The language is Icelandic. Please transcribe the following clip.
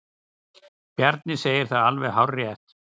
Bjarni segir það alveg hárrétt.